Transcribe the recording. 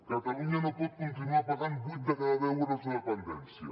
catalunya no pot continuar pagant vuit de cada deu euros de dependència